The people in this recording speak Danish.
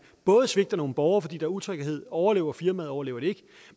svigter nogle borgere fordi der er usikkerhed overlever firmaet eller overlever det ikke